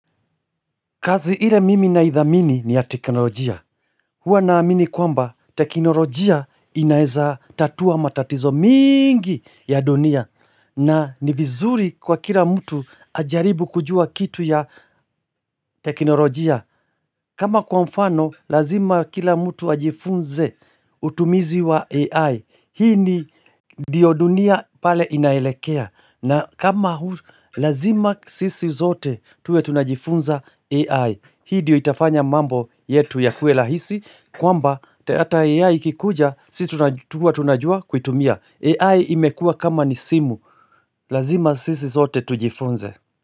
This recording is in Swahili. Kazi ile mimi na idhamini ni ya teknolojia. Huwa naamini kwamba teknolojia inaeza tatua matatizo mingi ya dunia. Na ni vizuri kwa kila mtu ajaribu kujua kitu ya teknolojia. Kama kwa mfano lazima kila mtu ajifunze utumizi wa AI. Hii ni ndio dunia pale inaelekea. Na kama huu lazima sisi zote tuwe tunajifunza AI. Hii diyo itafanya mambo yetu ya kue lahisi kwamba ata AI kikuja si tunajua huwa tunajua kuitumia AI imekua kama ni simu Lazima sisi sote tujifunze.